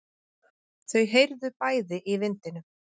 Þau heyrðu bæði í vindinum.